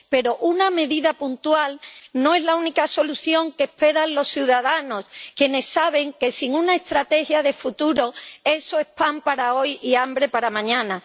Pero una medida puntual no es la única solución que esperan los ciudadanos, quienes saben que, sin una estrategia de futuro, eso es pan para hoy y hambre para mañana.